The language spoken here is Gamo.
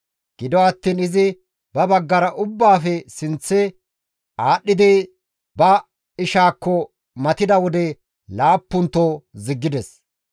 Gido attiin izi ba baggara ubbaafe sinththe aadhdhidi ba ishaakko matida wode laappunto ziggides.